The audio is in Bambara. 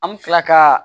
An bɛ tila ka